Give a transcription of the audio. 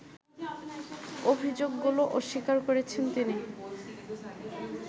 অভিযোগগুলো অস্বীকার করেছেন তিনি